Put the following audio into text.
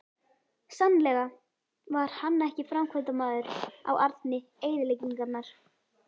Sannlega var hann ekki framkvæmdamaður á arni eyðileggingarinnar.